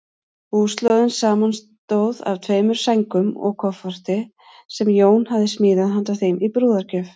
Búslóðin samanstóð af tveimur sængum og kofforti, sem Jón hafði smíðað handa þeim í brúðargjöf.